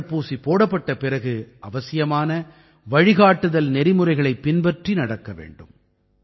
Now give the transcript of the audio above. தடுப்பூசி போடப்பட்ட பிறகு அவசியமான வழிகாட்டுதல் நெறிமுறைகளைப் பின்பற்றி நடக்க வேண்டும்